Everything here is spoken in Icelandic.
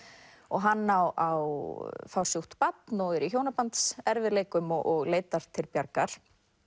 hann á á fársjúkt barn og er í hjónabandserfiðleikum og leitar til Bjargar